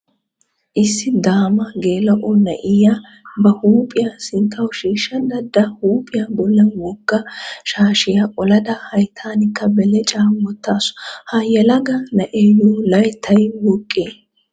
Issi daama geela"o na"iyaa ba huuphiya sinttawu shiishsha daddada huuphiya bollan wogga shaashiya olada hayttankka belecaa wottaasu. Ha yelaga na'eeyyo layttay woqqee?